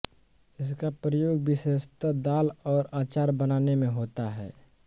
इसका प्रयोग विशेषतः दाल और अचार बनाने में होता है